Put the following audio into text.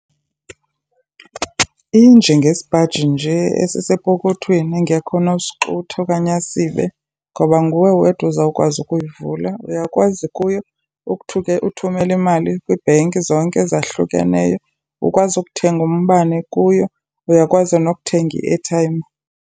Injengesipaji nje esisepokothweni engekho onosexutha okanye asibe ngoba nguwe wedwa uzawukwazi ukuyivula. Uyakwazi kuyo uthumela imali kwii-bank zonke zahlukeneyo, ukwazi ukuthenga umbane kuyo, uyakwazi nokuthenga i-airtime.